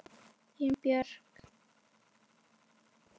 Þín Björk.